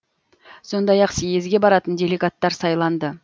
сондай ақ съезге баратын делегаттар сайланды